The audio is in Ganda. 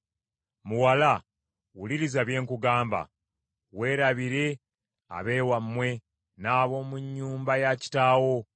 Muwala, wuliriza bye nkugamba: “Weerabire ab’ewammwe n’ab’omu nnyumba ya kitaawo.